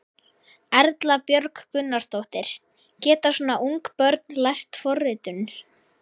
Erla Björg Gunnarsdóttir: Geta svona ung börn lært forritun?